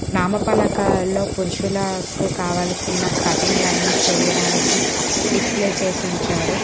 నామ పలకల్లో పురుషులకు కావలసిన కటింగ్ చేయడానికి డిస్ప్లే చేసి ఉంచారు.